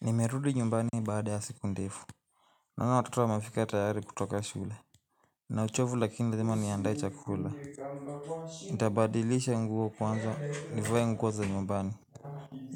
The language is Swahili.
Nimerudi nyumbani baada ya siku ndefu. Naona watoto wa mefika tayari kutoka shule. Nina uchovu lakini lazima niandae chakula. Nitabadilisha nguo kwanza nivae nguoza nyumbani.